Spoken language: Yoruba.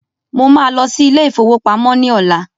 Mo ma lọ sí ilé ìfowópamọ́ ní ọ̀la